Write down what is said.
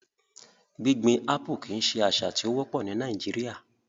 Gbigbin Apple kii ṣe asa ti o wopọ ni Nàìjíríà